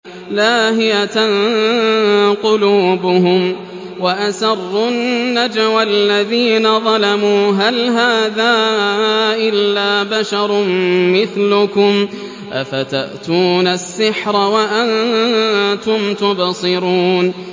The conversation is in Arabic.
لَاهِيَةً قُلُوبُهُمْ ۗ وَأَسَرُّوا النَّجْوَى الَّذِينَ ظَلَمُوا هَلْ هَٰذَا إِلَّا بَشَرٌ مِّثْلُكُمْ ۖ أَفَتَأْتُونَ السِّحْرَ وَأَنتُمْ تُبْصِرُونَ